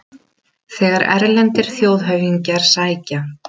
Menn eru sífellt að krefjast einhverra forréttina, en þessi tekur öllum öðrum fram.